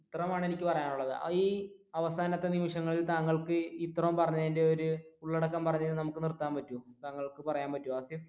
ഇത്രയുമാണ് എനിക്ക് പറയാനുള്ളത് ഈ അവസാനത്തെ നിമിഷങ്ങളിൽ താങ്കൾക്ക് ഇത്രോം പറഞ്ഞതിന്റെ ഒരു ഉള്ളടക്കം പറഞ്ഞിട്ട് നമുക്ക് നിർത്താൻ പറ്റോ താങ്കൾക്ക് പറയാൻ പറ്റുവോ ഹാസിഫ്?